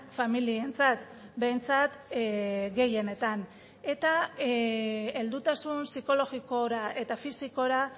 familientzat behintzat gehienetan eta heldutasun psikologikora eta fisikora